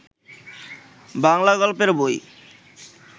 বাংলা গল্পের বই